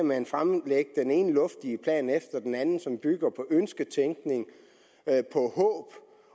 man fremlægge den ene luftige plan efter den anden som bygger på ønsketænkning